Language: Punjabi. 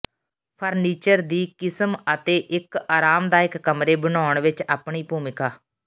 ਫਰਨੀਚਰ ਦੀ ਕਿਸਮ ਅਤੇ ਇੱਕ ਆਰਾਮਦਾਇਕ ਕਮਰੇ ਬਣਾਉਣ ਵਿਚ ਆਪਣੀ ਭੂਮਿਕਾ